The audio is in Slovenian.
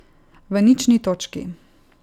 V nični točki.